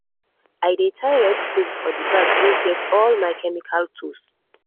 i dey tie red cloth for the bag wey get all my chemical tools.